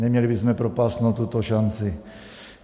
Neměli bychom propást tuto šanci.